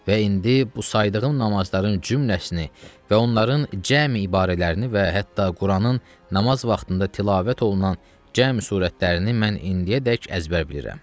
Və indi bu saydığım namazların cümlesini və onların cəmi ibarələrini və hətta Quranın namaz vaxtında tilavət olunan cəmi surətlərini mən indiyədək əzbər bilirəm.